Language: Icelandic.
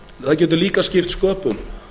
það getur líka skipt sköpum